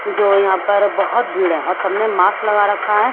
जो यहाँ पर बहत भीड़ है और सबने मास्क लगा रखा है।